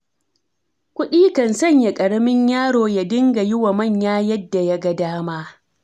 Kuɗi kan sanya ƙaramin yaro ya dinga juwa manya yadda ya ga dama.